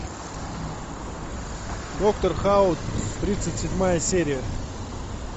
доктор хаус тридцать седьмая серия